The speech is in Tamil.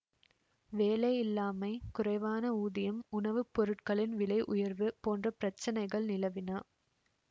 வேலையில்லாமை குறைவான ஊதியம் உணவு பொருட்களின் விலை உயர்வு போன்ற பிரச்னைகள் நிலவின